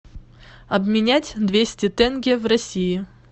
обменять двести тенге в россии